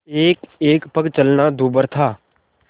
एकएक पग चलना दूभर था